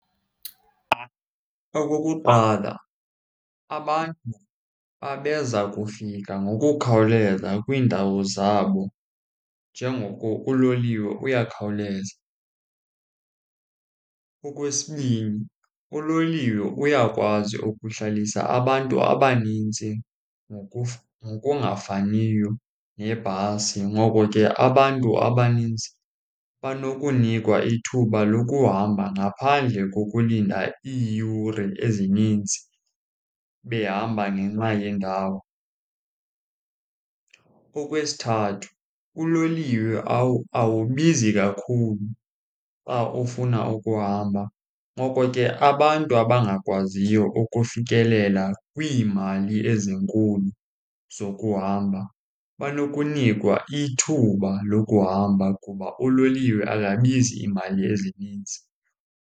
Okokuqala, abantu babezakufika ngokukhawuleza kwiindawo zabo njengoko uloliwe uyakhawuleza. Okwesibini, uloliwe uyakwazi ukuhlalisa abantu abaninzi ngokungafaniyo nebhasi, ngoko ke abantu abaninzi banokunikwa ithuba lokuhamba ngaphandle kokulinda iiyure ezininzi behamba ngenxa yendawo. Okwesithathu, uloliwe awubizi kakhulu xa ufuna ukuhamba, ngoko ke abantu abangakwaziyo ukufikelela kwiimali ezinkulu zokuhamba banokunikwa ithuba lokuhamba kuba uloliwe akabizi iimali ezininzi.